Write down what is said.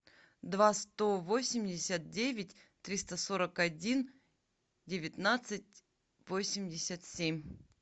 два сто восемьдесят девять триста сорок один девятнадцать восемьдесят семь